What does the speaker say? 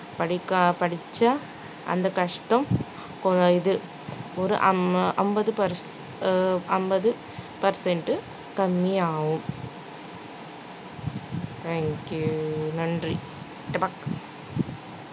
படிக்கா~ படிச்சா அந்த கஷ்டம் கொ~ இந்த இது ஒரு அம்~ அம்பது per~ அ அம்பது percent உ கம்மியாகும் thank you நன்றி